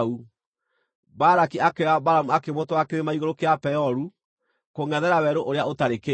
Balaki akĩoya Balamu akĩmũtwara kĩrĩma igũrũ kĩa Peoru, kũngʼethera Werũ ũrĩa ũtarĩ kĩndũ.